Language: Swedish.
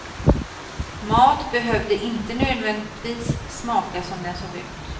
Mat behövde inte nödvändigtvis smaka som den såg ut.